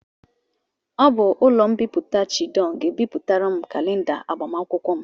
Ọ bụ ụlọ mbipụta Chidon ga-ebịpụtara m kalenda agbamakwụkwọ m.